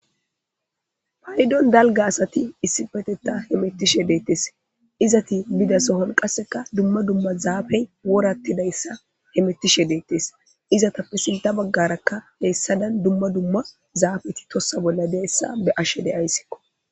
Payidon dalga asati issifetetta he mettishe deettes izati bidasohol qasseka dumma dumma zaafey worattidayssa he mettishe deettes izatappe silta baggarakka heessadan dumma dumma zaafeti tossa bolla deessa be ashe deayssikko.